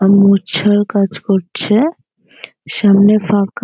আর মোছার কাজ করছে সামনে ফাঁকা।